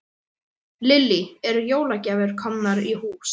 Lillý: Eru jólagjafir komnar í hús?